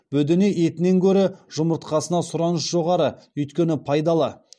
бөдене етінен гөрі жұмыртқасына сұраныс жоғары өйткені пайдалы